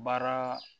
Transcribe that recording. Baara